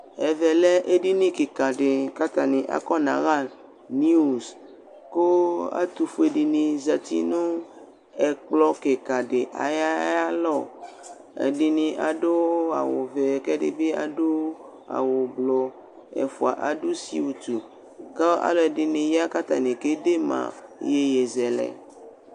Ɛvɛ lɛ edini kɩkadɩ k'atanɩ akɔnaɣa (news): kʋ ɛtʋfuedɩnɩ zati nʋ ɛkplɔ kɩkadɩ ay'a y'alɔ Ɛdɩnɩ adʋ awʋvɛ k'ɛdɩbɩ adʋ awʋblʋ ; ɛfʋa adʋ (siwutu) K'a alʋɛdɩnɩ ya k'atanɩ kede ma iyeyezɛlɛ